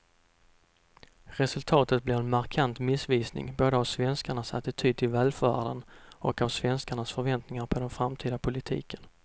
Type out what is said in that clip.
Resultatet blir en markant missvisning både av svenskarnas attityd till välfärden och av svenskarnas förväntningar på den framtida politiken.